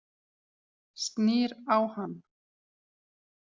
Snýr á hann.